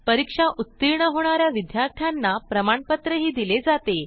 परीक्षा उत्तीर्ण होणा या विद्यार्थ्यांना प्रमाणपत्रही दिले जाते